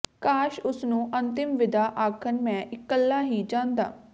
ਕਾਸ਼ ਉਸਨੂੰ ਅੰਤਿਮ ਵਿਦਾ ਆਖਣ ਮੈਂ ਇਕੱਲਾ ਹੀ ਜਾਂਦਾ